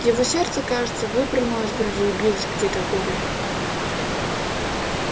его сердце кажется выпрыгнуло из груди и билось где-то в горле